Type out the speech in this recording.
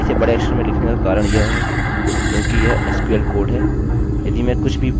अब इसे बड़े अक्षर में लिखने का कारण यह हैक्योंकि यह sql कोड है